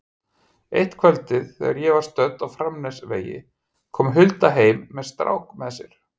Eitt kvöldið þegar ég var stödd á Framnesvegi kom Hulda heim með strák með sér.